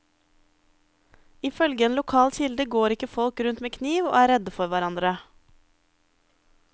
Ifølge en lokal kilde går ikke folk rundt med kniv og er redde for hverandre.